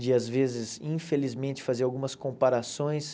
de, às vezes, infelizmente, fazer algumas comparações.